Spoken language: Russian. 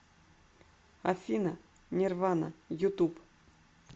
афина нирвана ютуб